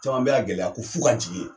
Caman bɛ la gɛlɛya ko f'u ka jigi ye.